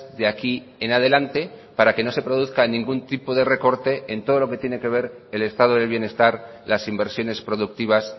de aquí en adelante para que no se produzca ningún tipo de recorte en todo lo que tiene que ver el estado del bienestar las inversiones productivas